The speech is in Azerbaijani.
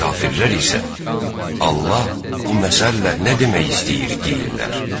Kafirlər isə Allah bu məsəllə nə demək istəyir deyirlər.